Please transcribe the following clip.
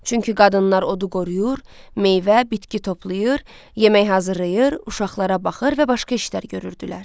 Çünki qadınlar odu qoruyur, meyvə, bitki toplayır, yemək hazırlayır, uşaqlara baxır və başqa işlər görürdülər.